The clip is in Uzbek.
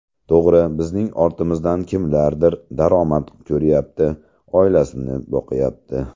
To‘g‘ri, bizning ortimizdan kimlardir daromad ko‘ryapti, oilasini boqyapti.